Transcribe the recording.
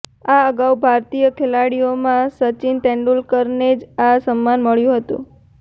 આ અગાઉ ભારતીય ખેલાડીઓમાં સચિન તેંદુલકરને જ આ સન્માન મળ્યું હતું